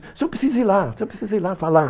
O senhor precisa ir lá, o senhor precisa ir lá falar.